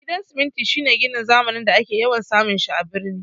Gidan siminti shine ginin zamani da ake yawan samun shi a birni